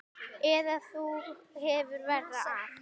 Eða þú hefur verra af